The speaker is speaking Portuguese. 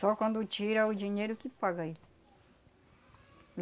Só quando tira o dinheiro que paga ele.